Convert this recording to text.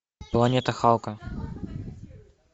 планета халка